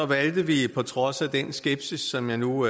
valgte vi på trods af den skepsis som jeg nu